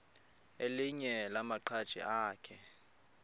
elinye lamaqhaji akhe